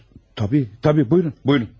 Tut, tabii, tabii, buyurun, buyurun.